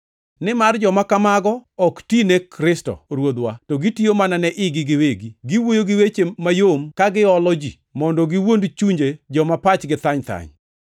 Nimar joma kamago ok ti ne Kristo Ruodhwa, to gitiyo mana ne igi giwegi. Giwuoyo gi weche mayom ka giolo ji mondo giwuond chunje joma pachgi thany thany.